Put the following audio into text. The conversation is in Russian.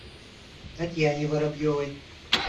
татьяне воробьевой